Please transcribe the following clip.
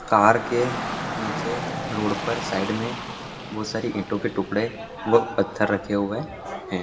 Car के नीचे road पर साइड में बहुत सारे ईटो के टुकड़े और पत्थर रखे हुए हैं ।